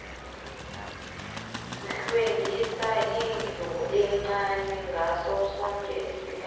hlwengisa indlu encani ngaso soke isikhathi